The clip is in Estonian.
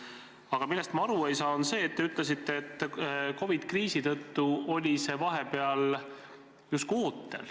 Aga millest ma aru ei saanud, on see, et te ütlesite, et COVID-i kriisi tõttu oli see vahepeal justkui ootel.